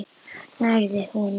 Nærðu honum?